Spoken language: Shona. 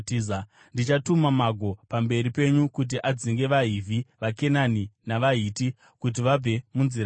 Ndichatuma mago pamberi penyu kuti adzinge vaHivhi, vaKenani navaHiti kuti vabve munzira yenyu.